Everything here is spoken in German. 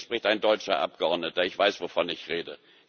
Und hier spricht ein deutscher Abgeordneter, ich weiß, wovon ich